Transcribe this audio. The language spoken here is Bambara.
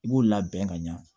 I b'o labɛn ka ɲa